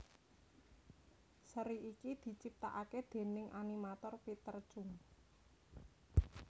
Seri iki diciptakaké déning animator Peter Chung